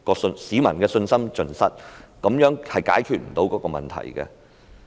市民的信心已經盡失，這樣並不能解決問題。